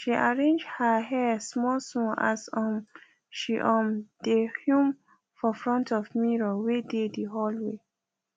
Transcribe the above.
she arrange her hair smallsmall as um she um dae hum for front of mirror wae dae the hallway